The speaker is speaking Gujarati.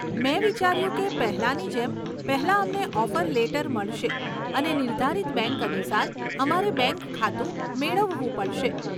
મેં વિચાર્યું કે પહેલાની જેમ, પહેલા અમને ઓફર લેટર મળશે અને નિર્ધારિત બેંક અનુસાર, અમારે બેંક ખાતું મેળવવું પડશે.